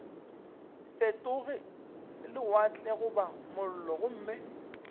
fetoge lewatle goba mollo gomme